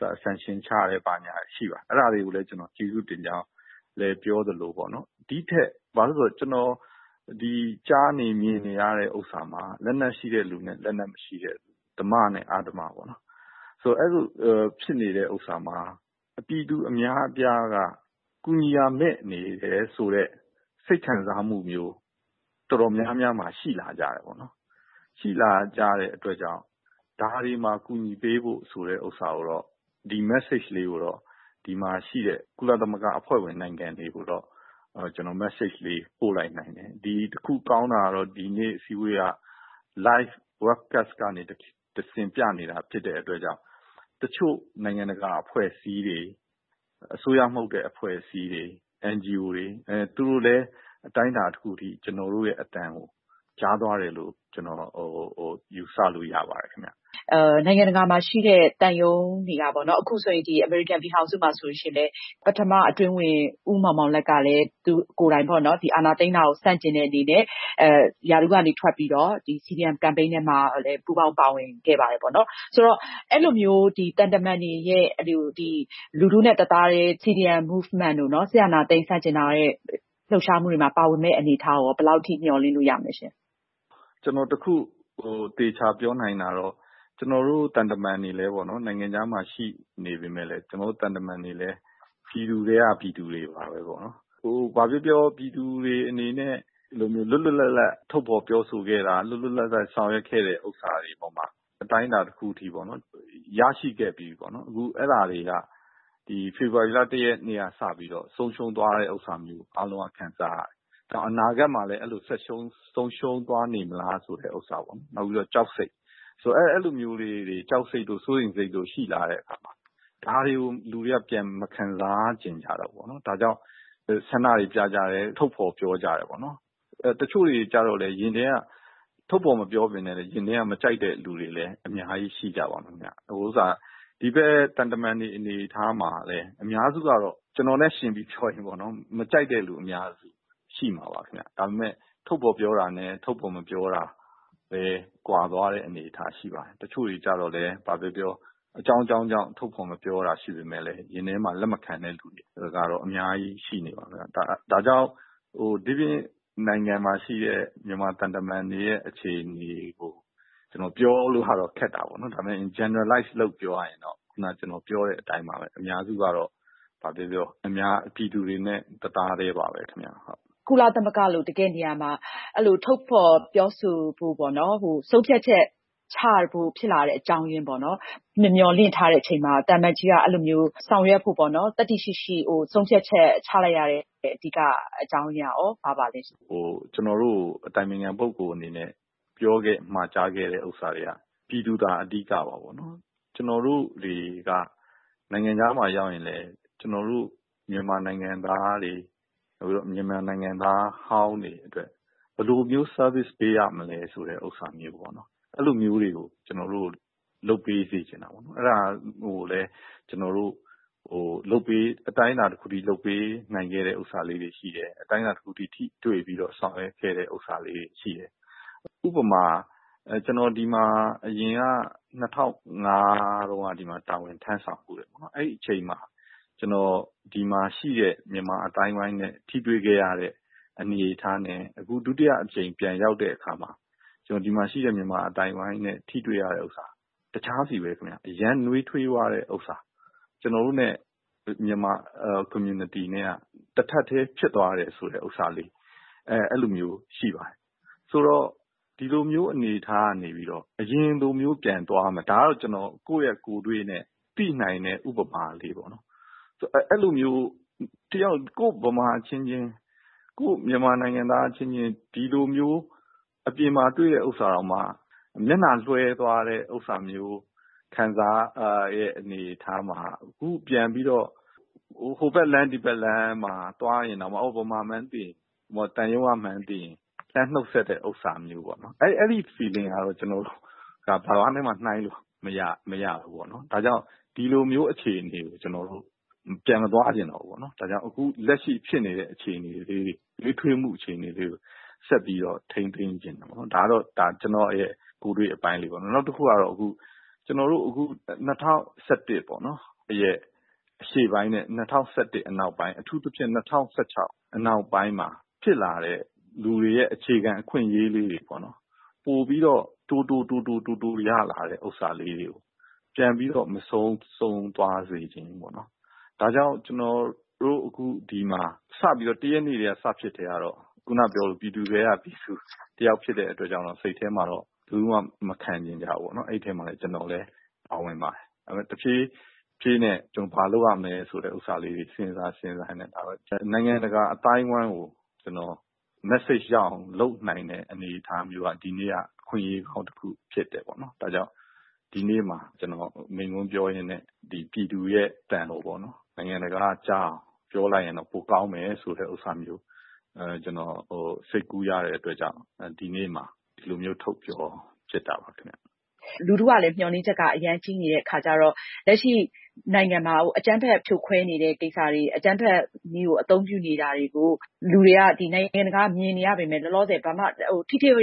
၊ sanction ချတယ် ဘာညာတွေ ရှိပါတယ်။ အဲဒါတွေကိုလည်း ကျနော် ကျေးဇူးတင်ကြောင်းပြောသလို ဒီထက် - ဘာလို့လဲဆို ကျနော် ကြားနေ၊ မြင်နေရတဲ့ဥစ္စာမှာ လက်နက်ရှိတဲ့သူနဲ့ လက်နက်မရှိတဲ့လူ။ ဓမ္မနဲ့အဓမ္မ ပေါ့နော်- အဲလိုဖြစ်နေတဲ့ဥစ္စာမှာ ပြည်သူအများအပြားကူညီရာမဲ့နေတယ်ဆိုတဲ့ စိတ်ခံစားမှုမျိုး တော်တော်များများမှာ ရှိလာကြတယ်ပေါ့နော်။ ရှိလာကြတဲ့အတွက် ဒါတွေကို အကူအညီပေးဖို့ဆိုတဲ့- message ကလေးကိုတော့ ဒီမှာရှိတဲ့ ကုလသမဂ္ဂအဖွဲ့ဝင်နိုင်ငံတွေကိုတော့ ကျနော် message ကလေး ပို့လိုက်နိုင်တယ်။ တခုကောင်းတာကတော့ ဒီနေ့အစည်းအဝေးလေးက live web cast ကနေပြနေတာဖြစ်တဲ့အတွက်ကြောင့် တချို့နိုင်ငံတကာအဖွဲ့အစည်းတွေ၊ အစိုးရမဟုတ်တဲ့အဖွဲ့အစည်းတွေ-သူတို့လည်း အတိုင်းအတာတခုအထိ ကျနော်တို့ရဲ့အသံကို ကြားသွားတယ်လို့ ကျနော်ယူဆလို့ရပါတယ်။ နိုင်ငံတကာမှာရှိတဲ့သံရုံးတွေကပေါ့နော်၊ အမေရိကန်ပြည်ထောင်စုမှာဆိုလို့ရှိရင်လည်း ပထမအတွင်းဝန် ဦးမောင်မောင်လတ်ကလည်း အာဏာသိမ်းတာကို သူကိုယ်တိုင်ဆန့်ကျင်တဲ့အနေနဲ့ ရာထူးကနေထွက်ပြီးတော့ CDM Campaign ထဲမှာ ပူးပေါင်းပါဝင်ခဲ့ပါတယ်။ အဲဒီလိုမျိုး လူထုနဲ့တသားတည်း CDM movement တို့ စစ်အာဏာသိမ်းဆန့်ကျင်ရေးလှုပ်ရှားမှုတွေမှာ ပါဝင်မယ့်အနေအထားကိုရော ဘယ်လောက်အထိ မျှော်လင့်လို့ရမလဲရှင့်။ ကျနော်တခု သေချာပြောနိုင်တာကတော့ -ကျနော်တို့သံတမန်တွေလည်း နိုင်ငံခြားမှာရှိနေပေမယ့် ကျနော်တို့သံတမန်တွေလည်း ပြည်သူထဲက ပြည်သူတွေပါပဲပေါ့နော်။ ဘာပြောပြော ပြည်သူတွေအနေနဲ့ လွတ်လွတ်လပ်လပ်ပြောဆိုထုတ်ဖော်ခဲ့တာ၊ လွတ်လွတ်လပ်လပ် ဆောင်ရွက်ခဲ့တာတွေပေါ်မှာ အတိုင်းအတာတခုအထိ ရရှိခဲ့ပြီးပြီပေါ့နော်။ အခု အဲဒါတွေက ဖေဖေါ်ဝါရီလ ၁ ရက်နေ့ကစပြီး ဆုံးရှုံးသွားရတယ်လို့ အားလုံးက ခံစားရတယ်။ အနာဂတ်မှာလည်း အဲလို ဆက် ဆုံးရှုံးသွားနေမလားဆိုတာပေါ့၊ နောက်ပြီးတော့ ကြောက်စိတ်တို့၊ စိုးရိမ်စိတ်တို့ဆက်ပြီးတော့ ရှိလာတဲ့အပေါ်မှာ ဒါတွေကိုလူတွေက ပြန်မခံစားချင်ကြတော့ဘူးပေါ့နော်။ ဒါကြောင့် ဆန္ဒတွေပြကြတယ်။ ထုတ်ဖော်ပြောကြတယ်ပေါ့နော်။ တချို့တွေကျတော့ ထုတ်ဖော်မပြောပေမယ့်လို့ရင်ထဲက မကြိုက်တဲ့လူတွေလည်း အများကြီး ရှိကြပါမယ်ဗျ။ ဟုတ်ကဲ့။ ဒီဘက်သံတမန်တွေအနေအထားမှာလည်း အများစုကတော့ ကျနော်နဲ့ယှဉ်ပြီးပြောရရင် မကြိုက်တဲ့သူတွေအများကြီး ရှိမှာပါခင်ဗျ။ ဒါပေမယ့် ထုတ်ဖော်ပြောတာနဲ့မပြောတာပဲ ကွာသွားတဲ့အနေအထားရှိပါတယ်။ တချို့တွေက အကြောင်းကြောင်းကြောင့် ထုတ်ဖော်မပြောတာရှိပေမယ့်လည်း ရင်ထဲကလက်မခံတဲ့သူတွေက အများကြီးရှိနေပါတယ်။ ဒါကြောင့် ဒိပြင်နိုင်ငံမှာရှိနေတဲ့ မြန်မာသံတမန်တွေရဲ့အခြေအနေကို ပြောလို့ကတော့ ခက်တာပေါ့နော်။ ဒါပေမယ့် Generalize လုပ်ပြီး ပြောရရင်တော့ ခုနက ကျနော်ပြောတဲ့အတိုင်းပါပဲ။ အများစုက ပြည်သူတွေနဲ့တသားတည်းပါပဲခင်ဗျ။ ကုလသမဂ္ဂလို တကယ့်နေရာမှာ အဲလို ထုတ်ဖော်ပြောဆိုဖို့ပေါ့နော်-ဆုံးဖြတ်ချက်ချဖို့ ဖြစ်လာတဲ့အကြောင်းရင်းပေါ့နော်။ မျှော်လင့်မထားတဲ့အချိန်မှာ သံအမတ်ကြီးက အဲလိုမျိုး သတ္တိရှိရှိ အဲလိုမျိုး ဆုံးဖြတ်ချက်ချလိုက်ရတဲ့ အဓိကအကြောင်းရင်းကရော ဘာပါလဲရှင့်။ ကျနော်တို့ကို အတိုင်ပင်ခံပုဂ္ဂိုလ်အနေနဲ့ ပြောခဲ့၊ မှာကြားခဲ့တာတွေက “ပြည်သူသာအဓိက” ပါပေါ့နော်။ ကျနော်တို့တွေက နိုင်ငံခြားမှာရောက်ရင်လည်း ကျနော်တို့မြန်မာနိုင်ငံသားတွေ၊ မြန်မာနိုင်ငံသားဟောင်းတွေအတွက် ဘယ်လိုမျိုး service ပေးရမလဲဆိုတဲ့ဥစ္စာမျိုးပေါ့-အဲလိုမျိုးတွေကို ကျနော်တို့ကို လုပ်ပေးစေချင်တာပေါ့။ အဲဒါကိုလည်း ကျနော်တို့ အတိုင်းအတာတခုအထိ လုပ်ပေးနိုင်ခဲ့တဲ့ဥစ္စာလေးတွေရှိတယ်။ အတိုင်းတာတခုအထိ ထိတွေ့ပြီးတော့ ဆောင်ရွက်ပေးခဲ့တာလေးတွေရှိတယ်။ ဥပမာ-ကျနော် ဒီမှာအရင်က ၂၀၀၅ တုန်းက တာဝန်ထမ်းဆောင်ဖူးတယ်။ အဲဒီအချိန်မှာ ဒီမှာရှိတဲ့မြန်မာအသိုင်းအဝိုင်းနဲ့ ကျနော်ထိတွေ့ခဲ့ရတဲ့အနေအထားနဲ့ အခု ဒုတိယအကြိမ်ပြန်ရောက်တဲ့အခါမှာ ဒီမှာရှိတဲ့မြန်မာအသိုင်းအဝိုင်းနဲ့ထိတွေ့ရတဲ့ဥစ္စာ- တခြားစီပဲခင်ဗျ။ အရမ်းနွေးထွေးသွားတဲ့ဥစ္စာ။ ကျနော်တို့နဲ့ မြန်မာ community နဲ့က တထပ်တည်းဖြစ်သွားတဲ့ဟာ အဲလိုမျိုး ရှိပါတယ်။ ဆိုတော့- ဒီလိုမျိုးအနေအထားကနေပြီးတော့ အရင်လိုမျိုး ပြန်သွားရမယ်။ ဒါကတော့ ကျနော့ကိုယ်တွေ့နဲ့ သိနိုင်တဲ့ဥပမာလေးပေါ့နော်။ အဲလိုမျိုး ကိုယ့်ဗမာအချင်းချင်း၊ ကိုယ့်မြန်မာနိုင်ငံသားအချင်းချင်း ဒီလိုမျိုး အပြင်မှာတွေ့တဲ့ဥစ္စာတောင်မှ မျက်နှာလွှဲသွား တဲ့ဥစ္စာမျိုး ခံစားရတဲ့အနေအထားမှာ အခုပြန်ပြီးတော့ ဟိုဘက်လမ်း၊ ဒီဘက်လမ်းမှာ ဗမာမှန်းသိရင်၊ သံရုံးကမှန်းသိရင် လှမ်းနှုတ်ဆက်တဲ့ဟာမျိုးပေါ့နော်။ အဲဒီ feeling က ကျနော်တို့ ဘာနဲ့မှ နှိုင်းလို့မရဘူး။ ဒါကြောင့် ဒီလိုမျိုးအခြေအနေကို ကျနော်တို့ ပြန်မသွားချင်တော့ဘူးပေါ့နော်။ ဒါကြောင့် အခုလက်ရှိရနေတဲ့ နွေးထွေးမှုအခြေအနေလေးတွေကို ဆက်ပြီးတော့ ထိန်းသိမ်းချင်တယ်ပေါ့နော်။ ဒါကတော့ ကျနော့်ရဲ့ ကိုယ်တွေ့အပိုင်းလေးပေါ့။ နောက်တခုကတော့ ကျနော်တို့ ဒီ ၂၀၁၁ ရဲ့ ရှေ့ပိုင်းနဲ့နောက်ပိုင်း၊ အထူးသဖြင့် ၂၀၁၆ နောက်ပိုင်းမှာဖြစ်လာတဲ့ လူတွေရဲ့အခြေခံအခွင့်အရေးလေးတွေပေါ့နော်-ပိုပြီးတော့ တိုး-တိုး- တိုး-တိုး ရလာတဲ့ဥစ္စာလေးတွေကို ပြန်ပြီးတော့ မဆုံးရှုံးသွားစေချင်ဘူးပေါ့နော်။ ဒါကြောင့် ၁ ရက်နေ့ စဖြစ်ကတည်းကတော့ အခုနကပြောသလို ပြည်သူထဲကပြည်သူတယောက်ဖြစ်တဲ့အတွက် စိတ်ထဲမှာတော့ လုံးဝမခံချင်ကြဘူးပေါ့နော်။ အဲဒီထဲမှာတော့ ကျနော်လည်း ပါဝင်ပါတယ်။ ဒါပေမယ့် တဖြည်းဖြည်းနဲ့ ကျနော် ဘာလုပ်ရမလဲဆိုတာလေးတွေ စဉ်းစားရင်း စဉ်းစားရင်းနဲ့ နိုင်ငံတကအသိုင်းအဝိုင်းကို message ရအောင် ကျနော်လုပ်နိုင်တာက ဒီနည်းက အခွင့်အရေးကောင်းတခုဖြစ်တယ်ပေါ့နော်။ ဒါကြောင့် ဒီနေ့မှာ ကျနော် မိန့်ခွန်းပြောရင်းနဲ့ ပြည်သူတွေရဲ့အသံကိုပေါ့နော်- “နိုင်ငံတကာကကြားရင် ပိုကောင်းမယ်”ဆိုတဲ့ဥစ္စာမျိုး စိတ်ကူးရတဲ့အတွက်ကြောင့် ဒီနေ့မှာ ဒီလိုမျိုး ထုတ်ပြောဖြစ်တာပါခင်ဗျ။ လူထုကလည်း မျှော်လင့်ချက်က အရမ်းကြီးနေတဲ့အခါကျတော့ - လက်ရှိနိုင်ငံတွင်းမှာ အကြမ်းဖက်ဖြိုခွဲနေတဲ့ကိစ္စတွေ၊ အကြမ်းဖက်နည်းကိုသုံးနေတာတွေကို နိုင်ငံတကာက မြင်နေရပေမယ့် လောလောဆယ်မှာ အကြမ်းဖက်ဖြိုခွဲ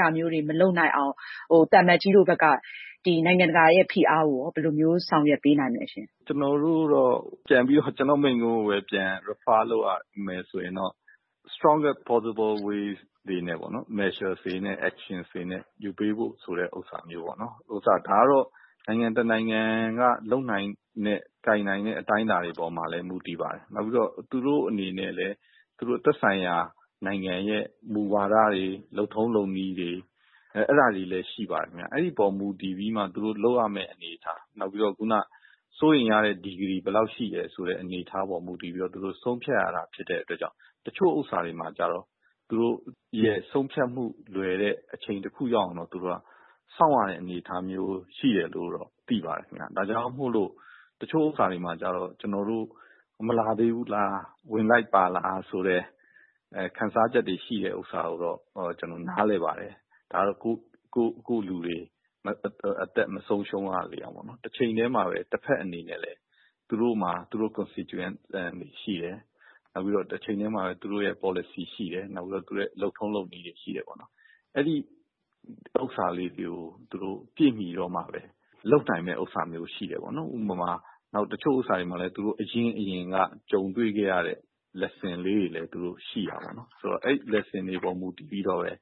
တာတွေ မလုပ်နိုင်အောင် သံအမတ်ကြီးတို့ဘက်က နိုင်ငံတကာရဲ့ဖိအားကိုရော ဘယ်လို ထိထိရောက်ရောက် ဆောင်ရွက်ပေးနိုင်မလဲရှင့်။ ကျနော့်မိန့်ခွန်းကိုပဲ ပြန် reffer လုပ်ရမယ်ဆိုရင်တော့ strongest possible ways ပေါ့နော်၊measures တွေနဲ့ actions တွေနဲ့ ယူပေးဖို့ပေါ့နော်။ ဒါကတော့ နိုင်ငံတနိုင်ငံက လုပ်နိုင်တဲ့၊ ကိုင်နိုင်တဲ့ အတိုင်းအတာတွေပေါ်မှာလည်း မူတည်ပါတယ်။ နောက်ပြီးတော့ သူတို့အနေနဲ့လည်း သူတို့သက်ဆိုင်ရာနိုင်ငံရဲ့ မူဝါဒတွေ၊ လုပ်ထုံးလုပ်နည်းတွေ- အဲဒါတွေလည်းရှိပါတယ်ခင်ဗျ။ အဲဒီအပေါ် မူတည်ပြီးမှ လုပ်ရမယ့်အနေအထား၊ နောက်ပြီးတော့ စိုးရိမ်ရတဲ့အနေအထား ဘယ်လောက်ရှိလဲဆိုတာပေါ်မှာ မူတည်ပြီးတော့ သူတို့ဆုံးဖြတ်ရတာဖြစ်လို့ သူတို့ရဲ့ဆုံးဖြတ်မှုလွယ်တဲ့အချိန်တခုရောက်အောင်တော့ သူတို့က စောင့်ရတဲ့အနေအထားမျိုးရှိတယ်လို့တော့ သိပါတယ်ခင်ဗျ။ ဒါကြောင့်မို့လို့ တချို့ဥစ္စာတွေမှာကျတော့ “မလာသေးဘူးလား၊ ဝင်လိုက်ပါလား....”ဆိုတဲ့ ခံစားချက်တွေ ရှိတာကိုတော့ ကျနော် နားလည်ပါတယ်။ ဒါကတော့ ကိုယ့်လူတွေ အသက်မဆုံးရှုံးရလေအောင်-ပေါ့နော်။ တချိန်တည်းမှာလည်း တဘက်အနေနဲ့လည်း သူတို့မှာ သူတို့ constituent တွေရှိတယ်။ တချိန်တည်းမှာပဲ သူတို့ရဲ့ ပေါ်လစီရှိတယ်။ သူတို့ရဲ့လုပ်ထုံးလုပ်နည်းတွေရှိတယ်ပေါ့နော်။ အဲဒါလေးတွေကို ပြည့်မီတော့မှပဲ သူတို့လုပ်ပေးနိုင်တာမျိုး ရှိတယ်ပေါ့နော်။ နောက်-တချို့ဥစ္စာတွေကလည်း အရင့်အရင်က ကြုံတွေ့ခဲ့ရတဲ့ lesson လေးတွေလည်း ရှိတာပေါ့နော်။ အဲဒီ lesson တွေပေါ် မူတည်ပြီးတော့ပဲ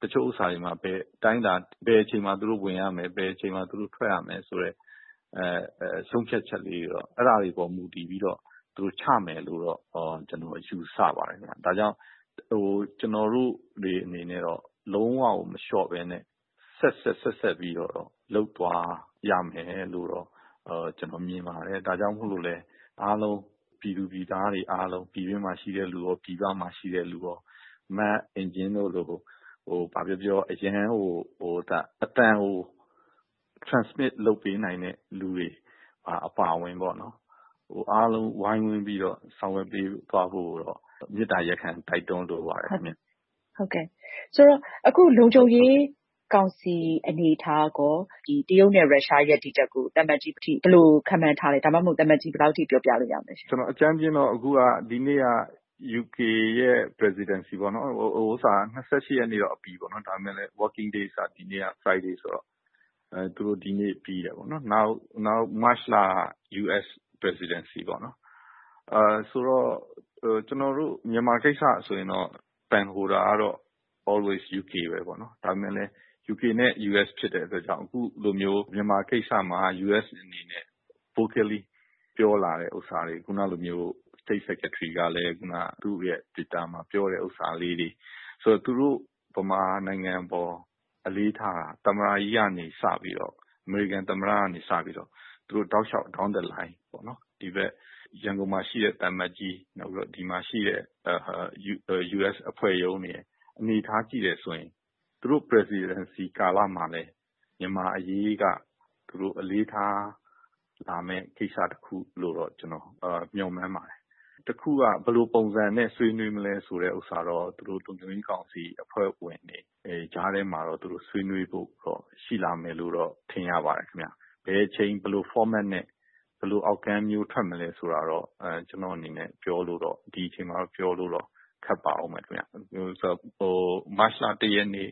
ဘယ်အချိန်မှာသူတို့ဝင်ရမယ်၊ ထွက်ရမယ်ဆိုတဲ့ ဆုံးဖြတ်ချက်လေးတွေတော့ - အဲဒါတွေပေါ်မူတည်ပြီးချမယ်လို့တော့ ယူဆပါတယ်ခင်ဗျ။ ဒါကြောင့် ကျနော်တို့တွေအနေနဲ့တော့ လုံးဝကို မလျှော့ဘဲ ဆက်ဆက်ပြီး လုပ်သွားရမယ်လို့တော့ မြင်ပါတယ်။ ဒါကြောင့်မို့လို့လည်း ပြည်တွင်းမှာရှိတဲ့လူရော၊ ပြည်ပမှာရှိတဲ့လူရော အားလုံး “မအင်ကြင်းတို့လို...” ဘာပြောပြော - အရမ်းကို အသံကို transmit လုပ်ပေးနိုင်မယ့်လူတွေ အပါအဝင်ပေါ့နော်။ အားလုံး ဝိုင်းဝန်းပြီးတော့ ဆောင်ရွက်ပေးသွားဖို့ကိုတော့ မေတ္တာရပ်ခံ တိုက်တွန်းလိုပါတယ်။ ဟုတ်ကဲ့။ အခု လုံခြုံရေးကောင်စီရဲ့ အနေအထားကရော တရုတ်နဲ့ ရုရှားရဲ့ရပ်တည်ချက်ကို သံအမတ်ကြီး ဘယ်လိုခန့်မှန်းထားလဲ။ ဒါမှမဟုတ် သံအမတ်ကြီး ဘယ်လောက်အထိ ပြောပြလို့ရလဲရှင့်။ အကြမ်းဖျင်းအားဖြင့် ဒီနေ့က U.K ရဲ့ presidency ပေါ့နော်၊ ၂၈ ရက်နေ့တော့အပြီးပေါ့နော်။ ဒါပေမယ့်လည်း working day က ဒီနေ့က Friday ဆိုတော့ သူတို့ ဒီနေ့ပြီးတယ်ပေါ့။ နောက် မတ်ချ်လ က US presidency ပေါ့နော်။…ဆိုတော့ မြန်မာကိစ္စဆိုရင်တော့ Pen holder ကတော့ always U.K ပဲပေါ့နော်။ ဒါပေမယ့်လည်း U.K နဲ့ U.S ဖြစ်တဲ့အတွက် အခု လိုမျိုး မြန်မာကိစ္စမှာ U.S အနေနဲ့ vocally ပြောလာတဲ့ကိစ္စတွေ၊ State Secretary ကလည်း သူ့ရဲ့ တွစ်တာမှာပြောတာလေးတွေ၊ ဗမာနိုင်ငံအပေါ် အမေရိကန်သမ္မတကြီးကစပြီးတော့ Down the lines ပေါ့နော်၊ ဗမာနိုင်ငံအပေါ် သူတို့အလေးထားတာ။ ရန်ကုန်မှာရှိတဲ့သံအမတ်ကြီး။ ဒီမှာရှိတဲ့ U.S အဖွဲ့ရုံးတွေရယ်။ အနေအထားရှိတယ်ဆိုရင် သူတို့ Presidency ကာလမှာလည်း မြန်မာအရေးက သူတို့အလေးထားလာမယ့် ကိစ္စတခုလို့တော့ ကျနော် မျှော်မှန်းပါတယ်။ ဘယ်လိုပုံစံနဲ့ ဆွေးနွေးမလဲဆိုတာတော့ သူတို့လုံခြုံရေးကောင်စီအဖွဲ့ဝင်တွေ ကြားထဲမှာ ဆွေးနွေးဖို့တော့ ရှိလာမယ်လို့ ထင်ရပါတယ်ခင်ဗျ။ ဘယ်အချိန်၊ ဘယ်လို format နဲ့ ဘယ်လို outcome မျိုး ထွက်မလဲဆိုတာတော့ ဒီအချိန်မှာ ကျနော့်အနေနဲ့ ပြောလို့တော့ ခက်ပါအုံးမယ်ခင်ဗျ။ မတ်ချ်လ ၁ ရက်နေ့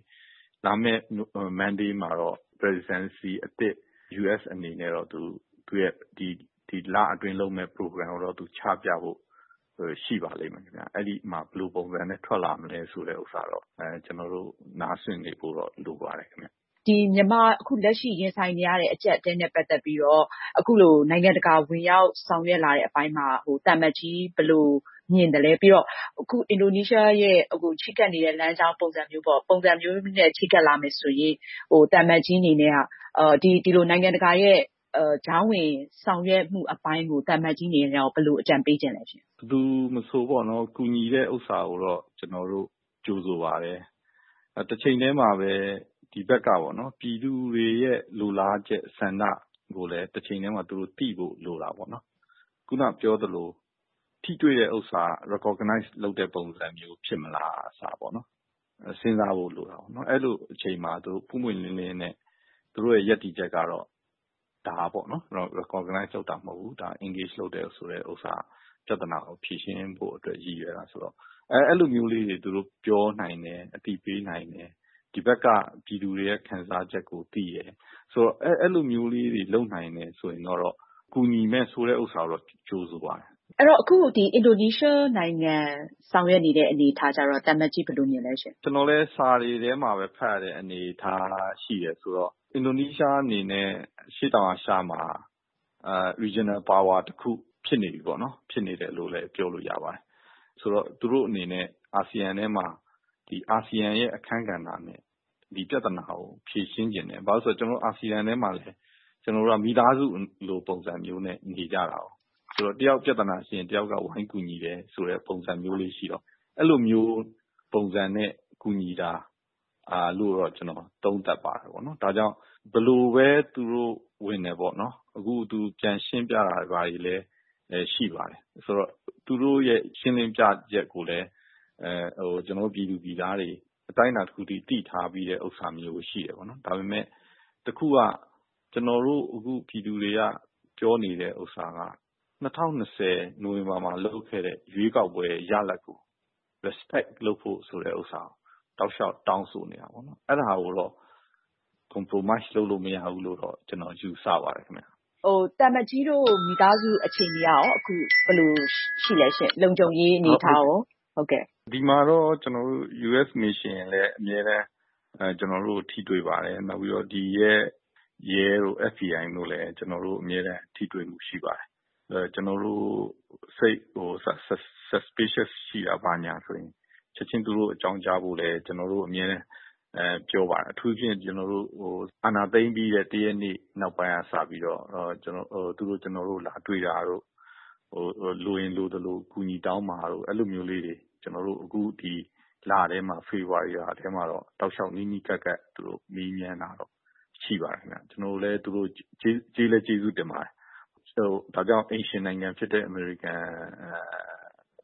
လာမယ့်တနင်္လာနေ့မှာတော့ U.S အနေနဲ့ Presidency အသစ် သူ့ရဲ့ဒီလအတွင်းလုပ်မယ့် ပရိုဂရမ်ကိုတော့ ချပြဖို့ ရှိပါလိမ့်မယ်ခင်ဗျ။ အဲဒီမှာ ဘယ်လိုပုံစံနဲ့ ထွက်လာမလဲဆိုတာတော့ ကျနော်တို့ နားစွင့်နေဖို့တော့လိုပါတယ်။ အခု မြန်မာလက်ရှိရင်ဆိုင်နေရတဲ့အကြပ်အတည်းနဲ့ပတ်သက်လို့ အခုလို နိုင်ငံတကာ ဝင်ရောက်ဆောင်ရွက်လာတဲ့အပိုင်းမှာ သံအမတ်ကြီး ဘယ်လိုမြင်သလဲ။ ပြီးတော့ အခု အင်ဒိုနီးရှား ချဉ်းကပ်နေတဲ့လမ်းကြောင်း ပုံစံမျိုးနဲ့ ချဉ်းကပ်လာမယ်ဆိုရင် နိုင်ငံတကာရဲ့ ကြားဝင်ဆောင်ရွက်ပေးမှုအပိုင်းကို သံအမတ်ကြီးအနေနဲ့ ဘယ်လို အကြံပေးချင်လဲ။ ဘယ်သူမဆို ကူညီတာကိုတော့ ကျနော်တို့ ကြိုဆိုပါတယ်။ တချိန်တည်းမှာပဲ ဒီဘက်က ပြည်သူတွေရဲ့လိုလားချက်ဆန္ဒ ကို သူတို့သိဖို့လိုတာပေါ့။ ခုနကပြောသလို ထိတွေ့တဲ့ဥစ္စာက recognize လုပ်တဲ့ပုံစံမျိုး ဖြစ်မလား ဆိုတာစဉ်းစားဖို့လိုတာပေါ့။ အဲလိုအချိန်မှာ ပွင့်ပွင့်လင်းလင်းနဲ့ သူတို့ရဲ့ရပ်တည်ချက်ကတော့ “ဒါ” ပေါ့နော်။ အဲလို recognize လုပ်တာမဟုတ်ဘူး၊ engage လုပ်တဲ့ဥစ္စာ။ ပြဿနာကိုဖြေရှင်းဖို့ ရည်ရွယ်တာဆိုပြီး အဲလိုမျိုးလေးတွေ ပြောနိုင်၊ အသိပေးနိုင်တယ်၊ ဒီဘက်က ပြည်သူတွေရဲ့ခံစားချက်ကိုသိတယ် - အဲလိုမျိုးလေးတွေ လုပ်နိုင်တယ်ဆိုရင်တော့ ကူညီမယ်ဆိုတဲ့ဥစ္စာကိုတော့ ကြိုဆိုပါတယ်။ အခု အင်ဒိုနီးရှားနိုင်ငံဆောင်ရွက်နေတဲ့အနေအထားကျတော့ သံအမတ်ကြီး ဘယ်လိုမြင်လဲရှင့်။ ကျနော်လည်း စာတွေထဲမှာပဲဖတ်ရတဲ့အနေအထားဆိုတော့ - အင်ဒိုနီးရှားအနေနဲ့ အရှေ့တောင်အာရှမှာ Regional power တခုဖြစ်နေပြီပေါ့နော်။ ဖြစ်နေတယ်လို့လည်း ပြောလို့ရပါတယ်။ ဆိုတော့-သူတို့အနေနဲ့ အာဆီယံထဲမှာ အာဆီယံရဲ့အခန်းကဏ္ဍနဲ့ဒီပြဿနာကို ဖြေရှင်းချင်တယ်။ ဘာလို့လဲဆိုတော့ အာဆီယံထဲမှာလည်း မိသားစုလိုပုံစံမျိုးနဲ့နေကြတာကိုး-။ တယောက်ပြဿနာရှိရင် တယောက်ကဝိုင်းကူညီတယ်ဆိုတဲ့ပုံစံမျိုးလေးရှိတော့ အဲလိုပုံစံနဲ့ကူညီတာလို့တော့ ကျနော် သုံးသပ်ပါတယ်။ ဒါကြောင့် သူတို့ ဘယ်လိုပဲ ဝင်ဝင်ပေါ့။ အခု သူပြန်ရှင်းပြတာတွေလည်း ရှိပါတယ်။...ဆိုတော့ သူတို့ရဲ့ရှင်းလင်းပြချက်ကိုလည်း ပြည်သူပြည်သားတွေ အတိုင်းအတာတခုအထိ သိထားပြီးတာရှိတယ်ပေါ့။ ဒါပေမယ့် တခုက ပြည်သူတွေပြောနေတဲ့ဥစ္စာက ၂၀၂၀ နိုဝင်ဘာမှာလုပ်ခဲ့တဲ့ ရွေးကောက်ပွဲရလဒ်ကို Respect လုပ်ဖို့ တောက်လျှောက်တောင်းဆိုနေတာ။ အဲဒါကိုတော့ compromise လုပ်လို့တော့မရဘူးလို့တော့ယူဆပါတယ်ခင်ဗျ။ အခု သံအမတ်ကြီးတို့ မိသားစုအခြေအနေကရော လုံခြုံရေးအနေအထားရော ဘယ်လိုရှိလဲရှင့်။ ဒီမှာတော့ ကျနော်တို့ U.S mission လည်း အမြဲတမ်း ထိတွေ့ပါတယ်။ နောက်ပြီးတော့ ဒီရဲ့ FBI တို့ရဲတို့လည်း အမြဲတမ်း ထိတွေ့မှုရှိပါတယ်။ ကျနော်တို့စိတ် suspicious ရှိတာ ဘာညာဆိုရင် ချက်ခြင်းအကြောင်းကြားဖို့ ကျနော်တို့ကို အမြဲပြောပါတယ်။ အထူးသဖြင့် အာဏာသိမ်းပြီးတဲ့ ၁ ရက်နေ့နောက်ပိုင်းကစပြီးတော့ ကျနော်တို့ကိုလာတွေ့တာတို့၊ လိုရင်လိုသလို အကူအညီတောင်းပါတို့-အဲလိုမျိုးလေးတွေ အခုဖေဖေါ်ဝါရီလထဲမှာတော့ နီးနီးကပ်ကပ် တောက်လျှောက်မေးမြန်းတာတော့ ရှိပါတယ်ခင်ဗျ။ သူတို့ကို ကျေးဇူးတင်လည်းတင်ပါတယ်။ ဒါကြောင့် အိမ်ရှင်နိုင်ငံဖြစ်တဲ့ အမေရိကန်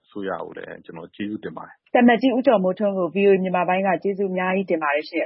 အစိုးရကိုလည်း ကျနော် ကျေးဇူးတင်ပါတယ်။ အခုလို အချိန်အများကြီးပေးပြီး ပြောကြားပေးတဲ့အတွက် သံအမတ်ကြီး ဦးကျော်မိုးထွန်းကို ဗွီအိုအေမြန်မာပိုင်းက ကျေးဇူးအများကြီးတင်ပါတယ်ရှင့်။